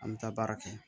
An bɛ taa baara kɛ